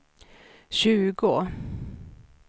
tjugo